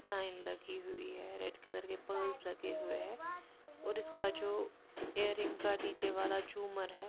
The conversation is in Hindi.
साइन लगी हुई है रेड कलर के पर्स है लगे हुए हैं और इसका जो एरिंग का नीचे वाला झूमर है।